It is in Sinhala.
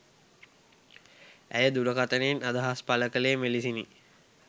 ඇය දුරකථනයෙන් අදහස් පළ කළේ මෙලෙසිනි